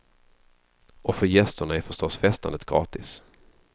Och för gästerna är förstås festandet gratis.